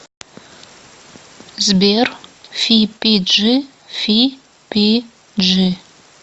сбер фипиджи фи пи джи